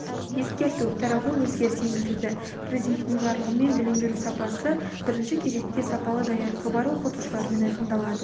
ескерту тарауға өзгеріс енгізілді президентінің жарлығымен білім беру сапасы бірінші кезекте сапалы даярлығы бар оқытушылармен айқындалады